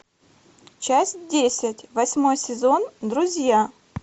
часть десять восьмой сезон друзья